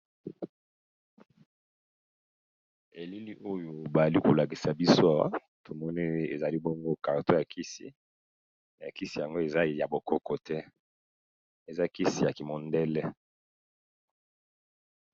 Elili oyo bali ko lakisa biso awa tomoni ezali bongo carton ya kisi, kisi yango eza ya bo koko te eza kisi ya ki mondele.